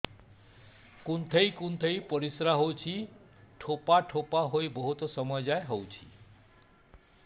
କୁନ୍ଥେଇ କୁନ୍ଥେଇ ପରିଶ୍ରା ହଉଛି ଠୋପା ଠୋପା ହେଇ ବହୁତ ସମୟ ଯାଏ ହଉଛି